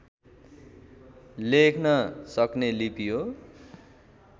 लेख्न सक्ने लिपि हो